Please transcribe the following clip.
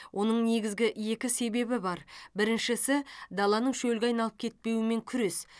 оның негізгі екі себебі бар біріншісі даланың шөлге айналып кетпеуімен күрес